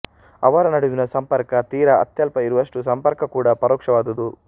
ಅವರ ನಡುವಿನ ಸಂಪರ್ಕ ತೀರ ಅತ್ಯಲ್ಪ ಇರುವಷ್ಟು ಸಂಪರ್ಕ ಕೂಡ ಪರೋಕ್ಷವಾದುದು